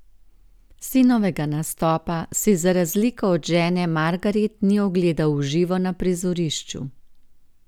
Sinovega nastopa si, za razliko od žene Margaret, ni ogledal v živo na prizorišču.